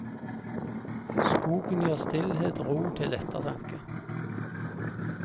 Skogen gir stillhet og ro til ettertanke.